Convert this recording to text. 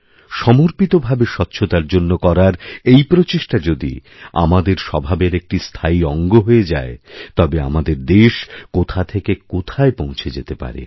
সমর্পিতভাবে স্বচ্ছতার জন্যকরার এই প্রচেষ্টা যদি আমাদের স্বভাবের একটি স্থায়ী অঙ্গ হয়ে যায় তবে আমাদের দেশকোথা থেকে কোথায় পৌঁছে যেতে পারে